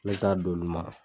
Ne t'a d'olu ma.